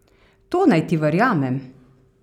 To naj ti verjamem?